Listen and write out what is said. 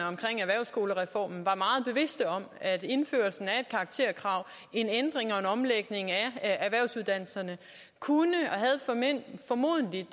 omkring erhvervsskolereformen var meget bevidste om at indførelsen af et karakterkrav og en ændring og en omlægning af erhvervsuddannelserne formodentlig